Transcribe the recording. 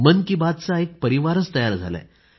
मन की बातचा एक परिवार तयार झाला आहे